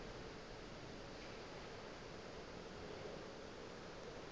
bona ba be ba sa